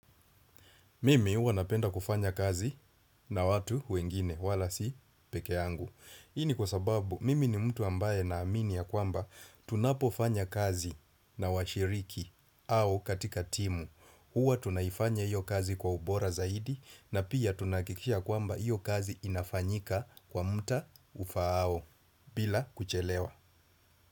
Mimi huwa napenda kufanya kazi na watu wengine wala si peke yangu. Hii ni kwa sababu mimi ni mtu ambaye naamini ya kwamba tunapofanya kazi na washiriki au katika timu. Huwa tunaifanya hiyo kazi kwa ubora zaidi na pia tunahakikisha ya kwamba hiyo kazi inafanyika kwa muda ufaao bila kuchelewa.